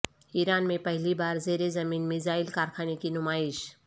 ایران میں پہلی بار زیر زمین میزائل کارخانے کی نمائش